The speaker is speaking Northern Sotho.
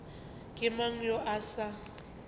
ke mang yo a sa